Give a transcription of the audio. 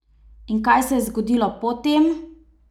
In kaj se je zgodilo po tem?